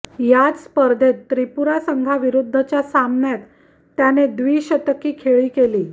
याच स्पर्धेत त्रिपुरा संघाविरुद्धच्या सामन्यात त्याने द्विशतकी खेळी केली